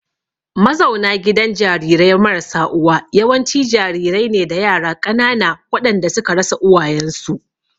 Mazauna gidan jarirai marasa uwa yawanci jarirai ne da yara ƙanana waɗanda suka rasa uwayensu.